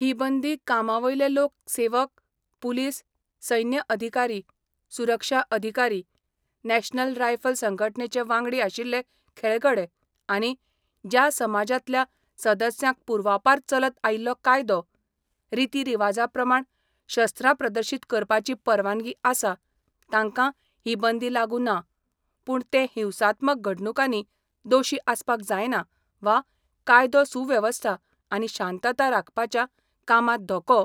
ही बंदी कामावयले लोक सेवक, पुलीस, सैन्य अधिकारी, सुरक्षा अधिकारी, नॅशनल रायफल संघटनेचे वांगडी आशिल्ले खेळगडे आनी ज्या समाजातल्या सदस्यांक पूर्वापार चलत आयिल्लो कायदो, रितीरिवाजाप्रमाण शस्त्रां प्रदर्शित करपाची परवानगी आसा तांका ही बंदी लागू ना, पूण ते हिंसात्मक घडणूकांनी दोशी आसपाक जायना वा कायदो सुवेवस्था आनी शांतता राखपाच्या कामात धोको